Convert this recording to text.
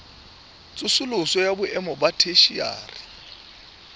tsosoloso ya boemo ba theshiari